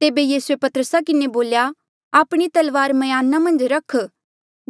तेबे यीसूए पतरसा किन्हें बोल्या आपणी तलवार म्याना मन्झ रख